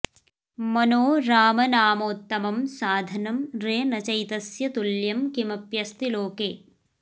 मनो रामनामोत्तमं साधनं रे न चैतस्य तुल्यं किमप्यस्ति लोके